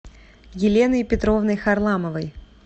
еленой петровной харламовой